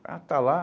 Ah, está lá?